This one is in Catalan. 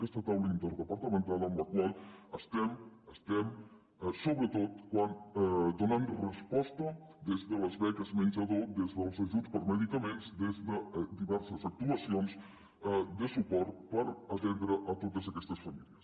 aquesta taula interdepartamental amb la qual estem sobretot donant resposta des de les beques menjador des dels ajuts per a medicaments des de diverses actuacions de suport per atendre totes aquestes famílies